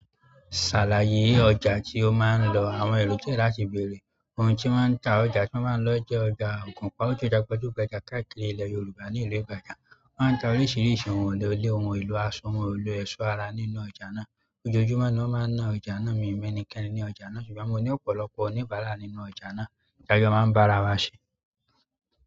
Ṣàlàyé ọjà tí ó máa ń lọ àwọn èrò diẹ́ láti bèrè. Ohun tí wọ́n ń ta ọjà tí mo máa ń lọ jẹ́ ọjà ògùnpa, ó jẹ́ gbajúgbàjà káàkiri ilẹ̀ Yorùbá ní ìlú Ìbàdàn. Wọ́n ń ta oríṣiríṣi ohun èlò ilẹ̀, ohun èlò aṣọ, ohun èlò ẹ̀ṣọ́ ara nínú ọjà náà. Ojoojúmọ́ ni wọ́n máa ń ná ọjà náà. Mi ò mọ ẹnikẹ́ni ní ọjà náà, ṣùgbọ́n mo ní ọ̀pọ̀lọpọ̀ oníbàárà nínú ọjà náà tí a jọ máa ń bá ara wa ṣe.